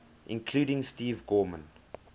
including steve gorman